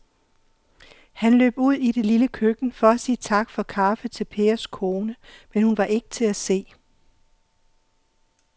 Han løb ud i det lille køkken for at sige tak for kaffe til Pers kone, men hun var ikke til at se.